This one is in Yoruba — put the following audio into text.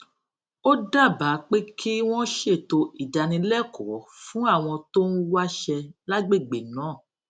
ó dábàá pé kí wọn ṣètò ìdánilẹkọọ fún àwọn tó ń wáṣẹ lágbègbè náà